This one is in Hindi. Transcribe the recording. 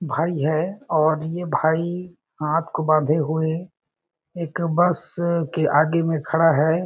भाई है और ये भाई हाथ को बांधे हुए एक बस के आगे में खड़ा है।